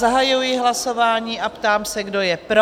Zahajuji hlasování a ptám se, kdo je pro?